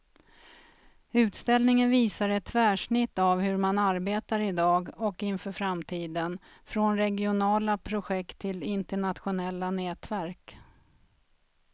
Utställningen visar ett tvärsnitt av hur man arbetar i dag och inför framtiden, från regionala projekt till internationella nätverk.